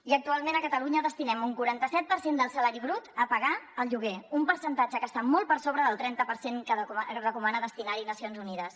i actualment a catalunya destinem un quaranta set per cent del salari brut a pagar el lloguer un percentatge que està molt per sobre del trenta per cent que recomana destinar hi nacions unides